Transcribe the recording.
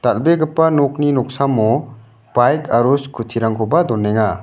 dal·begipa nokni noksamo baik aro skuti rangkoba donenga.